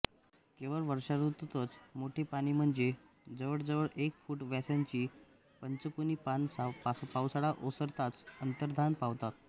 केवळ वर्षाऋतूतच मोठी पाने म्हणजे जवळजवळ एक फुट व्यासाची पंचकोनी पान पावसाळा ओसरताच अंतर्धान पावतात